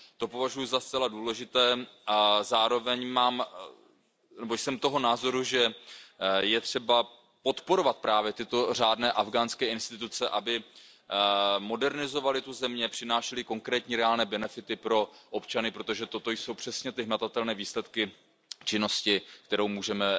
To považuji za zcela důležité a zároveň jsem toho názoru, že je třeba podporovat právě tyto řádné afghánské instituce, aby modernizovaly zemi, přinášely konkrétní reálné benefity pro občany, protože toto jsou přesně ty hmatatelné výsledky činnosti, kterou můžeme